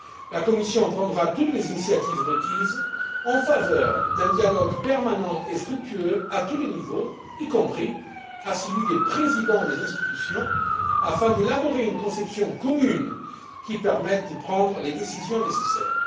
La Commission prendra toutes les initiatives requises en faveur d'un dialogue permanent et fructueux à tous les niveaux, y compris à celui des présidents des institutions, afin d'élaborer une conception commune qui permette de prendre les décisions nécessaires.